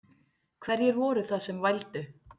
Hverjir voru það sem vældu?